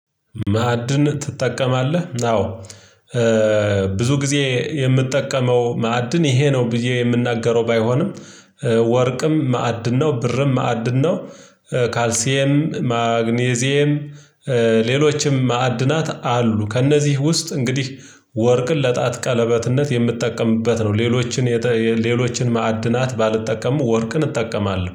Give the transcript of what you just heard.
ማዕድን ትጠቀማለህ አዎ ብዙ ጊዜ የምጠቀመው ማዕድን ይሄ ነው ብዬ የምናገረው ባይሆንም ወርቅም ማዕድን ነው ብርም ማዕድን ነው። ካልሲኤም ማግኒዜም ሌሎችም ማዕድናት አሉ። ከእነዚህ ውስጥ እንግዲህ ወርቅን ለጣት ቀለበትነት የምትጠቀምበት ነው። ሌሎችን ሌሎችን ማዕድናት ባልጠቀሙ ወርቅን እጠቀማለሁ